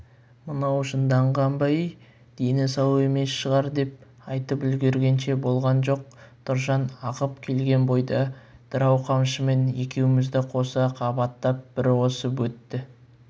мынау жынданған ба-ей дені сау емес шығар деп айтып үлгергенше болған жоқ тұржан ағып келген бойда дырау қамшымен екеумізді қоса қабаттап бір осып өтті